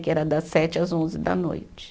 Que era das sete às onze da noite.